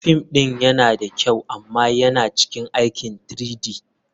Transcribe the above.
Fim ɗin yana da kyau amma yana cikin aikin 3-D.